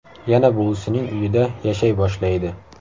Yana buvisining uyida yashay boshlaydi.